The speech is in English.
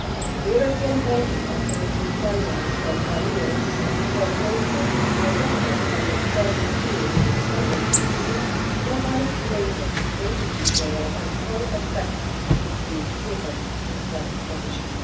The European Banking Authority's guidelines on arrears and foreclosure adopted on 1 June 2015 provide greater detail on how effect should be given to that provision.